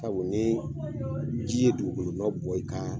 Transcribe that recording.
Sabu ni ji ye dugukolonɔ bɔ i ka